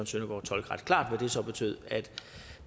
søndergaard tolke ret klart at det så betød at